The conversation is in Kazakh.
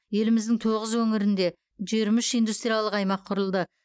еліміздің тоғыз өңірінде жиырма үш индустриялық аймақ құрылды